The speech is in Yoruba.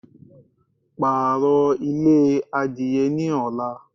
Pààrọ̀ ilé adìye ní ọ̀la